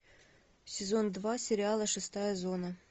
сезон два сериала шестая зона